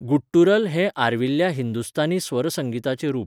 Guttural हें आर्विल्ल्या हिंदुस्थानी स्वर संगीताचें रूप.